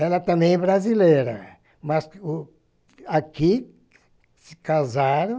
Ela também é brasileira, mas o aqui se casaram